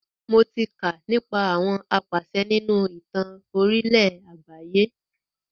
Mo tí kà nípa àwọn apàṣẹ nínú ìtàn orílẹ̀ àgbáyé.